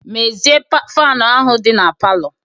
Mezie faanụ ahụ dị na palọ!